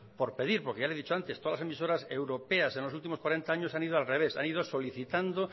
por pedir porque ya le he dicho antes todas las emisoras europeas en los últimos cuarenta año han ido al revés han ido solicitando